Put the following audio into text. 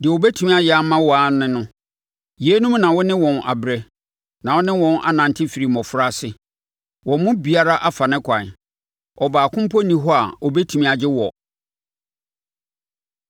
Deɛ wɔbɛtumi ayɛ ama wo ara ne no, yeinom na wo ne wɔn abrɛ na wo ne wɔn anante firi mmɔfraase. Wɔn mu biara afa ne kwan; ɔbaako mpo nni hɔ a ɔbɛtumi agye woɔ.